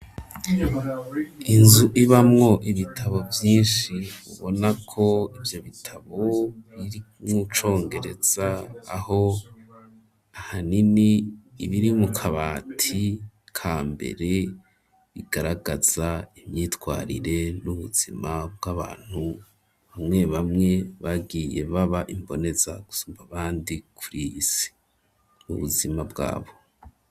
Inzu ibamwo ibitabo vyinshi, ubona ko ivyo bitabo biri mu congereza, aho ahanini ibiri mu kabati ka mbere, bigaragaza imyitwarire n'ubuzima bw'abantu bamwe bamwe, bagiye baba imboneza gusumba abandi kuri iyi si, ubuzima bwabo.